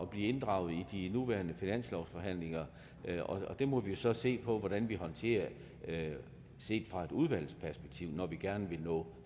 bliver inddraget i de nuværende finanslovsforhandlinger og det må vi jo så se på hvordan vi håndterer set fra et udvalgsperspektiv når vi gerne vil nå